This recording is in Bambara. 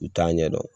U t'a ɲɛdɔn